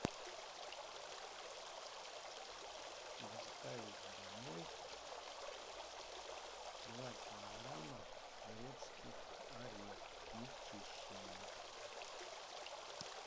доставить домой два килограмма грецких орехов не чищеных